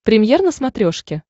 премьер на смотрешке